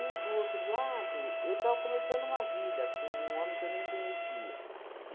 E, do outro lado, eu estava começando uma vida com um homem que eu nem conhecia.